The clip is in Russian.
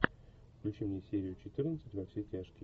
включи мне серию четырнадцать во все тяжкие